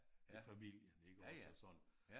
Med familien iggås og sådan